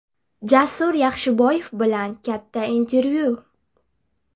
Jasur Yaxshiboyev bilan katta intervyu !